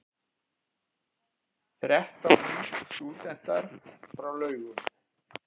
Þrettán nýstúdentar frá Laugum